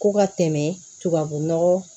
Ko ka tɛmɛ tubabu nɔgɔ